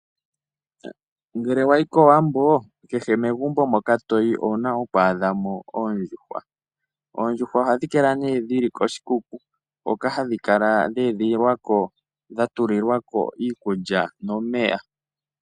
Ngele wayi kOwambo kehe megumbo moka toyi owuna oku adha mo oondjuhwa. Oondjuhwa ohadhi kala nee dhili koshikuku hoka hadhi kala dha edhililwa ko dhatulilwa ko iikulya nomeya.